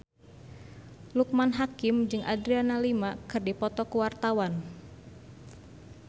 Loekman Hakim jeung Adriana Lima keur dipoto ku wartawan